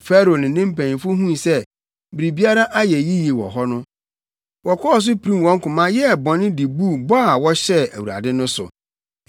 Farao ne ne mpanyimfo huu sɛ biribiara ayɛ yiye wɔ hɔ no, wɔkɔɔ so pirim wɔn koma yɛɛ bɔne de buu bɔ a wɔhyɛɛ Awurade no so.